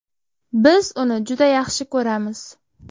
Biz uni juda yaxshi ko‘ramiz.